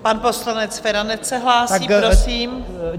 Pan poslanec Feranec se hlásí, prosím.